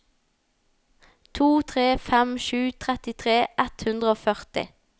to tre fem sju trettitre ett hundre og førti